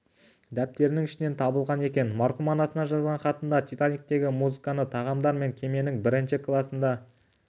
дәптерінің ішінен табылған екен марқұм анасына жазған хатында титаниктегі музыканы тағамдар мен кеменің бірінші класында